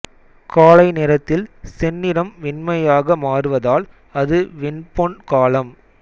காலை நேரத்தில் செந்நிறம் வெண்மையாக மாறுவதால் அது வெண்பொன் காலம்